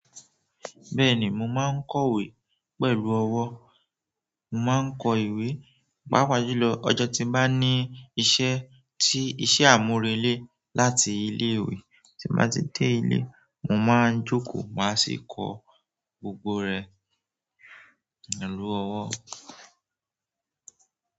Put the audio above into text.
Bẹ́ẹ̀ni, mo maa ko ìwé pẹ̀lú owo. Mo máa ń kọ ìwé, paàpá julò ọjọ́ tí n bá ní iṣẹ́ tí iṣẹ́ àmúrelé láti ilé ìwé, tí n bá ti dé ilé, mo máa ń jókòó máa sì kọ gbogbo rẹ̀ pẹ̀lú ọwọ́.